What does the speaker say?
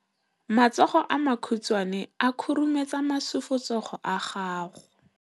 Matsogo a makhutshwane a khurumetsa masufutsogo a gago.